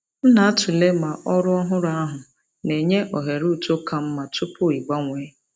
M na-atụle ma ọrụ ọhụrụ ahụ na-enye ohere uto ka mma tupu ịgbanwee.